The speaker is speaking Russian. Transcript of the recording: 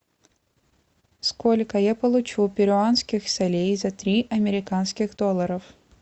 сколько я получу перуанских солей за три американских долларов